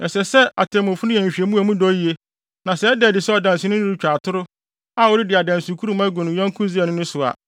Ɛsɛ sɛ atemmufo no yɛ nhwehwɛmu a emu dɔ yiye, na sɛ ɛda adi sɛ ɔdanseni no retwa atoro, a ɔredi adansekurum agu ne yɔnko Israelni no so a,